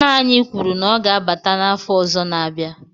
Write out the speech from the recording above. Nna anyi kwuru na o ga-abata n'afo ozo n'abia